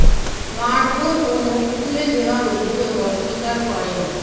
মারধর ও নখ তুলে দেওয়ার অভিযোগ অস্বীকার করে মো